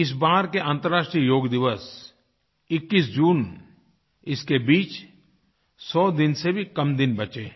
इस बार के अंतर्राष्ट्रीय योग दिवस 21 जून इसके बीच 100 दिन से भी कम दिन बचे हैं